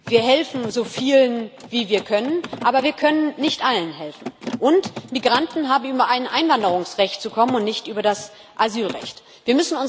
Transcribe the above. Wir helfen so vielen, wie wir können, aber wir können nicht allen helfen. Und Migranten haben über ein Einwanderungsrecht und nicht über das Asylrecht zu kommen.